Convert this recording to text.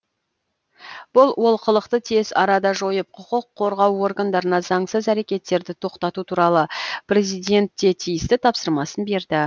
бұл олқылықты тез арада жойып құқық қорғау органдарына заңсыз әрекеттерді тоқтату туралы президент те тиісті тапсырмасын берді